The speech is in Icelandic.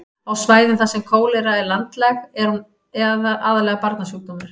á svæðum þar sem kólera er landlæg er hún aðallega barnasjúkdómur